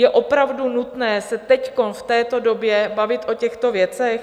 Je opravdu nutné se teď, v této době, bavit o těchto věcech?